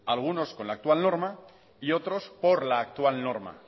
algunos con la actual norma y otros por la actual norma